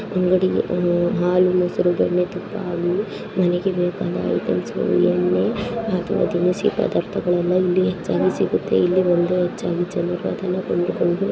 ಅಂಗಡಿ ಇದೆ ಹಾಲು ಮೊಸರು ಹಾಗೂ ಏನು ಬೇಕೋ ಆ ತಿನಿಸುಗಳು ದಿನಸಿ ಪದಾರ್ಥಗಳು ಇಲ್ಲಿ ಸಿಗುತ್ತವೆ ಇಲ್ಲಿ ಬಂದು ಜನರು ಹೆಚ್ಚಾಗಿ ಕೊಂಡುಕೊಂಡು --